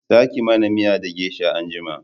Za ki mana miya da gesha anjima!